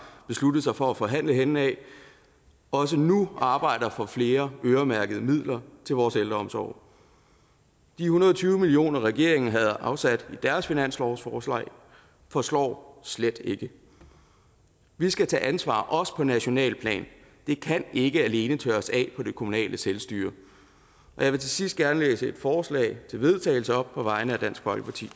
besluttet sig for at forhandle henne også nu arbejder for flere øremærkede midler til vores ældreomsorg de en hundrede og tyve million regeringen havde afsat i deres finanslovsforslag forslår slet ikke vi skal tage ansvar også på nationalt plan det kan ikke alene tørres af på det kommunale selvstyre jeg vil til sidst gerne læse et forslag til vedtagelse op på vegne af dansk folkeparti